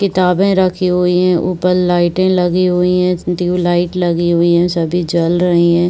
किताबे रखी हुई हैं। ऊपर लाइटे लगी हुए हैं। इसमें टिवलाइट लगी हुई हैं। सभी जल रही हैं।